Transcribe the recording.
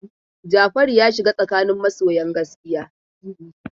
Jafaru ya shiga tsakanin masoyan gaskiya.